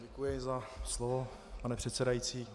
Děkuji za slovo, pane předsedající.